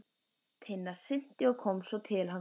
Tinna synti og kom svo til hans.